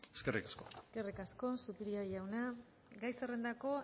eskerrik asko eskerrik asko zupiria jauna gai zerrendako